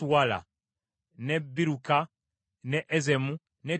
ne Biruka, ne Ezemu, ne Toladi,